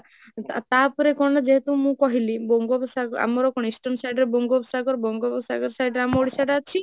ତାପରେ କଣ ଯେହେତୁ ମୁଁ କହିଲି, ବଙ୍ଗ ସାଗର ଆମର କଣ eastern side ରେ ବଙ୍ଗ ସାଗର ବଙ୍ଗ side ରେ ଅମ୍ ଓଡ଼ିଶା ତ ଅଛି